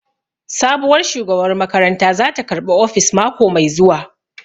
Sabuwar shugabar makaranta zata karɓi ofis mako mai zuwa